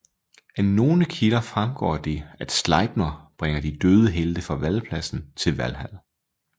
Af nogle kilder fremgår det at Slejpner bringer de døde helte fra valpladsen til Valhal